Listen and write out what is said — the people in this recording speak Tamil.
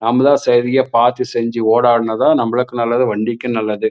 நமலா சரியா பாத்து செஞ்சு ஓடாடுநாதா நமலுக்கு நல்லது வண்டிக்கும் நல்லது.